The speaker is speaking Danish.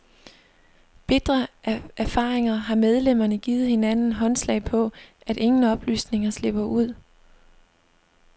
Bitre af erfaringer har medlemmerne givet hinanden håndslag på, at ingen oplysninger slipper ud.